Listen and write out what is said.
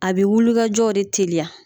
A bɛ wulikajɔw de teliya